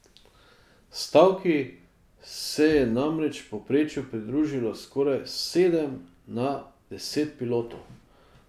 Stavki se je namreč v povprečju pridružilo skoraj sedem na deset pilotov.